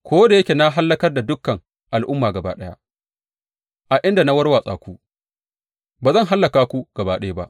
Ko da yake na hallakar da dukan al’umma gaba ɗaya a inda na warwatsa ku, ba zan hallaka ku gaba ɗaya ba.